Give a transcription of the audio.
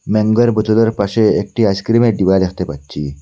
ম্যাঙ্গোর বোতলের পাশে একটি আইসক্রিমের ডিবা দেখতে পাচ্ছি।